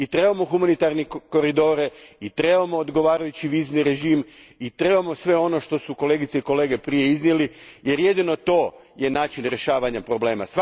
Trebamo humanitarne koridore i trebamo odgovarajući vizni režim, i trebamo sve ono što su kolegice i kolege prije iznijeli jer jedino to je način rješavanja problema.